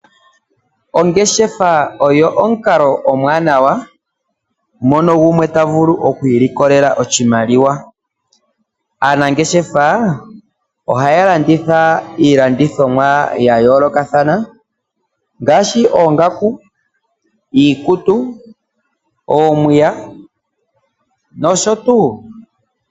Ongeshefa oyo omukalo omwanawa. Moka tovulu okwi likolela oshimaliwa . Aanangeshefa ohaya landitha iilanduthimwa yayolokathana ngaashi oongaku, iikutu, omapaya nosho tuu.